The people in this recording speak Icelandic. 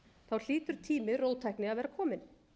það hlýtur tími róttækni að vera kominn